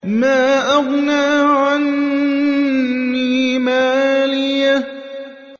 مَا أَغْنَىٰ عَنِّي مَالِيَهْ ۜ